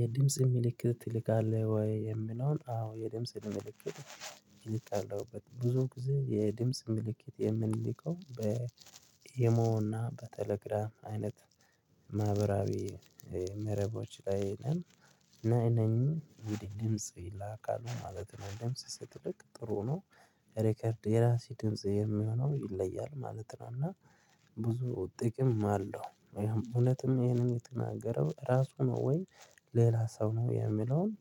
የድምጽ ምልክት ትልካለህ ወይ? የምለውን አዎ የድምጽ ምልክት እልካ አለው። ብዙ ጊዜ የድምጽ ምልክት የምንልከው በኢሞና በቴሌግራም አይነት ማህበራዊ መረቦች ላይ ነኝ። እና እነኝህም ድምጽ ይላካሉ ማለት ነው። ድምጽ ሲልክ ጥሩ ነው። ሪከርድ የራሴ ድምጽ የሚሆነው ይለያል ማለት ነው። እና ብዙ ጥቅም አለው ያም እውነትም ይሄንን የተናገረው ራሱ ነው ወይ ሌላ ሰው ነው የሚለውን